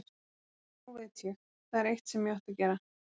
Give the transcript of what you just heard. Nei, nú veit ég, það er eitt sem ég ætti að gera.